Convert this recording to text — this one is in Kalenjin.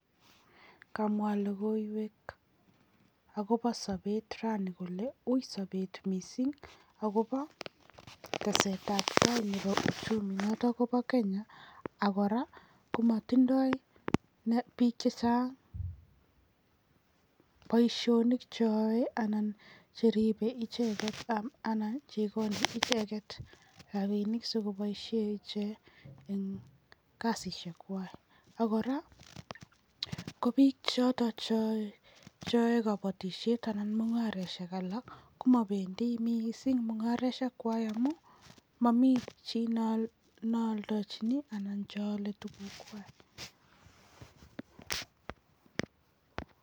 Kamwa logiwek akobi sabet rani kole ui sabet mising akobo tesetabtai nebo bichu akobo kenya akora komatinyei bik chechang boishonik cheribei ichek. Akora komatinyei rabinik sikoboishe ichek eng kasisiek kwai. Akora ko bik chotok cheyaei kabotishet anan mungaroshek alak komabendi mising mungareshek kwai ngamun mani bik chealdachini anan chealei tukuk kwai.